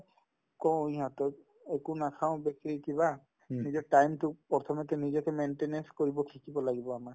কও ইহঁতক একো নাখাও বেছি কিবা নিজৰ time তো প্ৰথমতে নিজকে maintenance কৰিব শিকিব লাগিব আমাক